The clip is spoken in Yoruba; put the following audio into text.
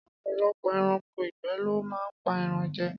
Ọ̀pọ̀lọpọ̀ ẹranko ìgbẹ́ lo máa ń pa ẹran jẹ